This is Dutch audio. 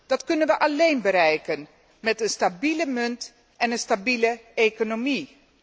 Dat kunnen wij alleen bereiken met een stabiele munt en een stabiele economie.